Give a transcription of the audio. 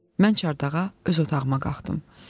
Mən çardağa öz otağıma qalxdım.